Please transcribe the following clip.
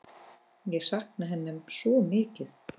Ég sakna hennar svo mikið.